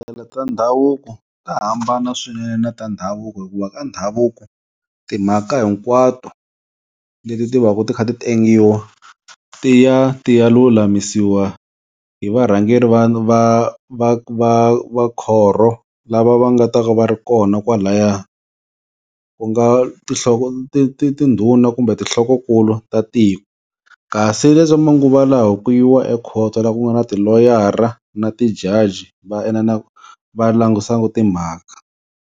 ta ndhavuko ta hambana swinene na ta ndhavuko hikuva ka ndhavuko timhaka hinkwato leti ti va ka ti kha ti tengiwa ti ya ti ya lulamisiwa hi varhangeri va va va khorho lava va nga ta va va ri kona kwalaya, ku nga tinhloko ti ti tindhuna kumbe tinhlokonkulu ta tiko. Kasi leswa manguva lawa ku yiwa ekhoto la ku nga na tiloyara na ti-judge va va langusaku timhaka.